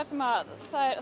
sem það